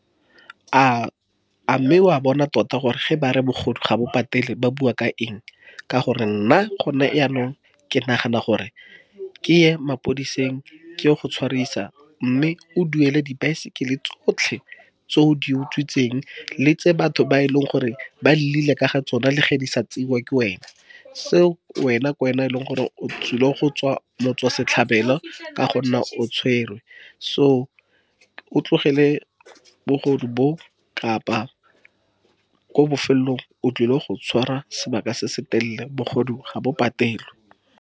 A mme wa bona tota gore ge ba re bogodu ga bo patele, ba bua ka eng? Ka gonne nna, gone jaanong, ke nagana gore ke ye mapodiseng, ke go tshwarisa. Mme o duele dibaesekele tsotlhe tse o di utswitseng, le tse batho ba e leng gore ba ka ga tsona, le ge di sa tseiwe ke wena. Seo wena, kwena, e leng gore o tlile go tswa motswasetlhabelo, ka gonne o tshwerwe. So o tlogele bogodu bo, kapa ko bofelelong o tlile go tshwara sebaka se se telele. Bogodu ga bo patelwe.